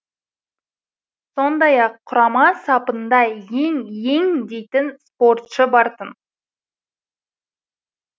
сондай ақ құрама сапында ең ең дейтін спортшы бар тын